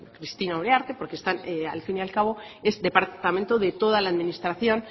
cristina uriarte porque al fin y al cabo es departamento de toda la administración